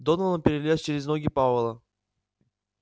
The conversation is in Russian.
донован перелез через ноги пауэлла